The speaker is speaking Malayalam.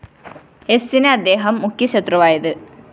എസിന് അദ്ദേഹം മുഖ്യ ശത്രുവായത്